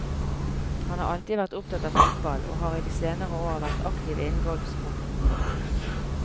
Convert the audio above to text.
Han har alltid vært opptatt av fotball, og har i de senere år vært aktiv innen golfsporten.